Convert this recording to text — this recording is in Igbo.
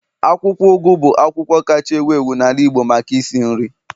akwukwo ugu bu akwukwo kacha ewu ewu n'ala Igbo maka isi nri